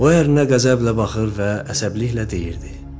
O ərnə qəzəblə baxır və əsəbiliklə deyirdi.